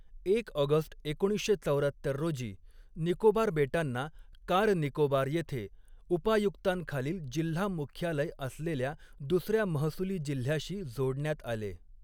एक ऑगस्ट एकोणीसशे चौऱ्यात्तर रोजी निकोबार बेटांना कार निकोबार येथे उपायुक्तांखालील जिल्हा मुख्यालय असलेल्या दुसर्या महसुली जिल्ह्याशी जोडण्यात आले.